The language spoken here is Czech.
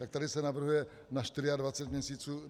Tak tady se navrhuje na 24 měsíců.